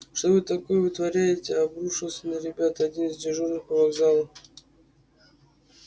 что вы такое вытворяете обрушился на ребят один из дежурных по вокзалу